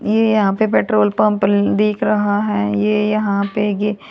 ये यहां पर पेट्रोल पंप दिख रहा है ये यहां पे ये--